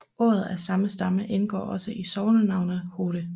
Ord af samme stamme indgår også i sognenavnet Hodde